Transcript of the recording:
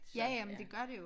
Ja ja men det gør det jo